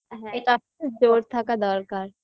হ্যাঁ এই জোর থাকা দরকার